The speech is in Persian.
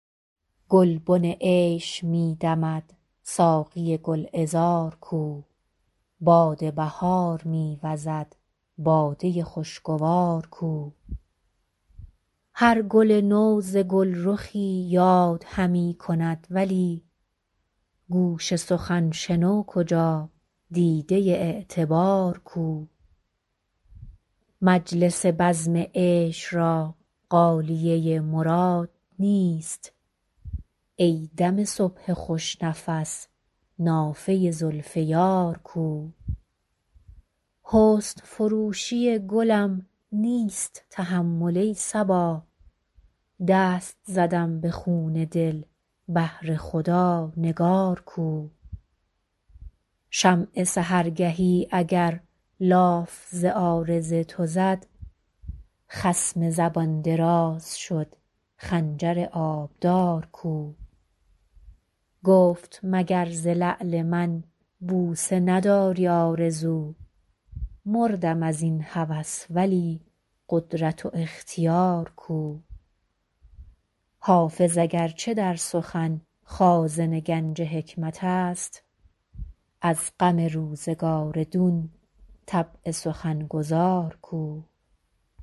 گلبن عیش می دمد ساقی گل عذار کو باد بهار می وزد باده خوش گوار کو هر گل نو ز گل رخی یاد همی کند ولی گوش سخن شنو کجا دیده اعتبار کو مجلس بزم عیش را غالیه مراد نیست ای دم صبح خوش نفس نافه زلف یار کو حسن فروشی گلم نیست تحمل ای صبا دست زدم به خون دل بهر خدا نگار کو شمع سحرگهی اگر لاف ز عارض تو زد خصم زبان دراز شد خنجر آبدار کو گفت مگر ز لعل من بوسه نداری آرزو مردم از این هوس ولی قدرت و اختیار کو حافظ اگر چه در سخن خازن گنج حکمت است از غم روزگار دون طبع سخن گزار کو